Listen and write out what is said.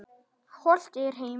Hollt er heima hvað.